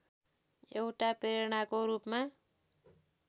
एउटा प्रेरणाको रूपमा